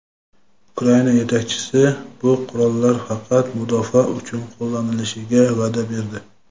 Ukraina yetakchisi bu qurollar faqat mudofaa uchun qo‘llanilishiga va’da berdi.